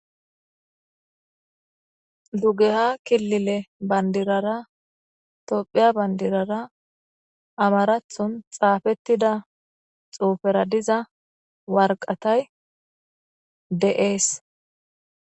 Dugeha killile bandirara tophiya bandirara amarathon xaafetida xuufera diza waraqatay de'es.